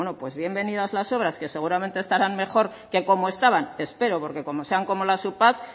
pues bienvenidas las obras que seguramente estarán mejor que como estaban espero porque como sean como las upad